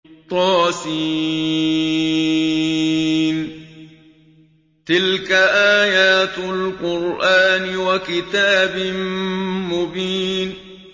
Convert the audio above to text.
طس ۚ تِلْكَ آيَاتُ الْقُرْآنِ وَكِتَابٍ مُّبِينٍ